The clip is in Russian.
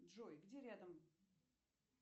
джой где рядом